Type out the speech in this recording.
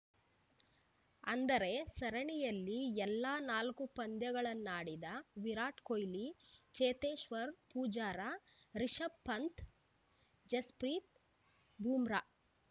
ಅಂದರೆ ಸರಣಿಯಲ್ಲಿ ಎಲ್ಲಾ ನಾಲ್ಕು ಪಂದ್ಯಗಳನ್ನಾಡಿದ ವಿರಾಟ್‌ ಕೊಹ್ಲಿ ಚೇತೇಶ್ವರ್‌ ಪೂಜಾರ ರಿಷಭ್‌ ಪಂತ್‌ ಜಸ್‌ಪ್ರೀತ್‌ ಬೂಮ್ರಾ